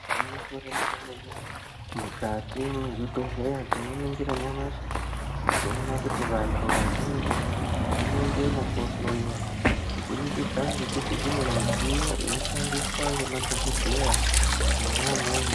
Gwinyiso remene mene, mwukati mwezvibhedhleya tinoningira nyamashi toona kuti vantu vazhinji vanoendemwo kohloyiwa kubudikidza ngekuti kune midziyo inoshandiswa ngemadhokodheya mwona imwomwo.